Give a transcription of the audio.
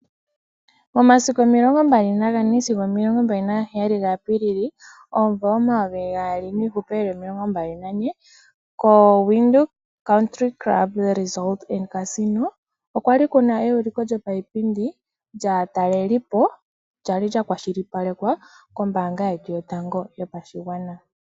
Omasiku omilongombali nagane sigo omilongombali nagaheyali ga Apiilili omumvo omumvo omayovi gaali nomilongombali nane ko Widhoek Country Club okwali kuna euliko lyopayipindi lyaatalelipo ndono kwali lya kwashilipalekwa kombaanga yetu yotango yopashigwana.